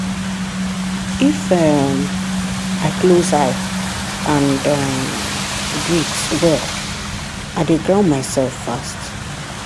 if um i close eye and um breathe well i dey ground myself fast.